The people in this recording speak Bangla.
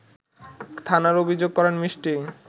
থানায় অভিযোগ করেন মিষ্টি